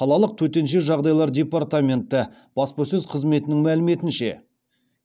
қалалық төтенше жағдайлар департаменті баспасөз қызметінің мәліметінше